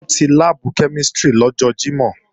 Wọ́n ti láàbù kẹ́mísìrì lọ́jọ́ Jímọ̀